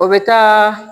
O bɛ taa